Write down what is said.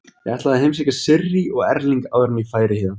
Ég ætlaði að heimsækja Sirrý og Erling áður en ég færi héðan.